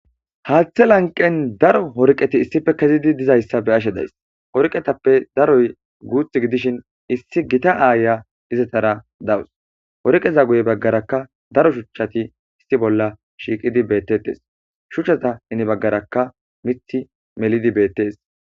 haaththe lanqen daro worqeti issife kezidi dizayssa beaashe days orqetappe daroy guuthi gidishin issi gita aaya izatara dawus worqeza guye baggaraka daro shuchchati issi bolla shiiqidi beettettes shuchchata heni baggaraka mithi melidi beettes